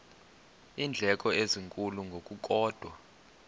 iindleko ezinkulu ngokukodwa